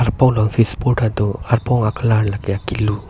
arpong long switch board tado arpong colour la ke akilu.